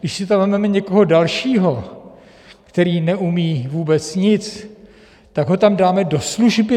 Když si tam vezmeme někoho dalšího, který neumí vůbec nic, tak ho tam dáme do služby?